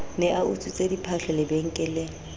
ne a utswitse diphahlo lebenkeleng